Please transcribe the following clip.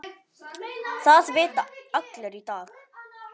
Það vita allir í dag.